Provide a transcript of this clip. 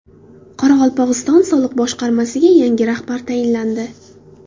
Qoraqalpog‘iston soliq boshqarmasiga yangi rahbar tayinlandi.